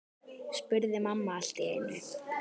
spurði mamma allt í einu.